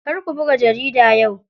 Kar ku buga jarida yau.